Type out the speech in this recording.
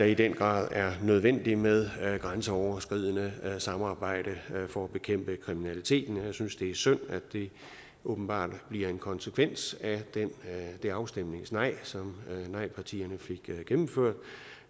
i den grad er nødvendigt med grænseoverskridende samarbejde for at bekæmpe kriminaliteten jeg synes det er synd at det åbenbart bliver en konsekvens af det afstemningsnej som nejpartierne fik gennemført